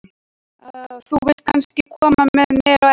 Þú vilt kannski koma með mér á eftir?